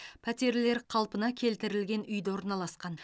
пәтерлер қалпына келтірілген үйде орналасқан